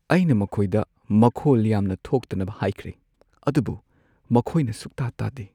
ꯑꯩꯅ ꯃꯈꯣꯏꯗ ꯃꯈꯣꯜ ꯌꯥꯝꯅ ꯊꯣꯛꯇꯅꯕ ꯍꯥꯏꯈ꯭ꯔꯦ, ꯑꯗꯨꯕꯨ ꯃꯈꯣꯏꯅꯁꯨꯛꯇꯥ ꯇꯥꯗꯦ꯫